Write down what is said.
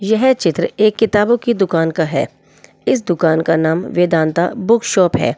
यह चित्र एक किताबों की दुकान का है इस दुकान का नाम वेदांता बुक शॉप है।